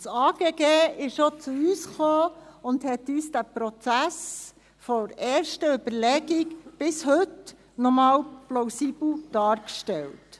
Das Amt für Grundstücke und Gebäude (AGG) kam auf uns zu und stellte uns den Prozess von der ersten Überlegung bis heute nochmals plausibel dar.